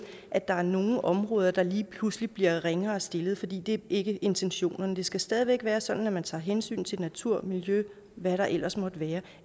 at der er nogle områder der lige pludselig bliver ringere stillet fordi det er ikke intentionerne det skal stadig væk være sådan at man tager hensyn til natur og miljø og hvad der ellers måtte være